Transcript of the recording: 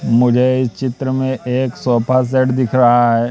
मुझे इस चित्र में एक सोफा सेट दिख रहा है।